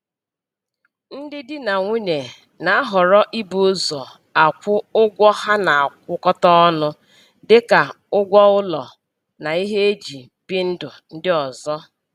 Ndị di na nwunye na-ahọrọ ibu ụzọ akwụ ụgwọ ha na-akwụkọta ọnụ dịka ụgwọ ụlọ na ihe e ji bi ndụ ndị ọzọ